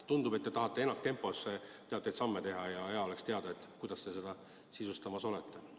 Tundub, et te tahate ennaktempos teatud samme astuda, ja hea oleks teada, kuidas te seda plaani sisustamas olete.